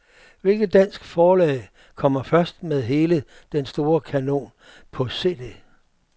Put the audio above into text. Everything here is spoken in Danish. Hvilket dansk forlag kommer først med hele den store kanon på cd?